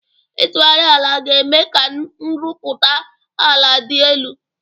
Ịtụgharị ala ga-eme ka nrụpụta ala dị elu.